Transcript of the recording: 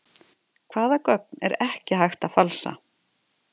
Hvaða gögn er ekki hægt að falsa?